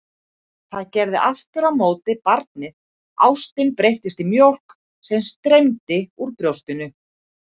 Það gerði aftur á móti barnið, ástin breyttist í mjólk sem streymdi úr brjóstinu.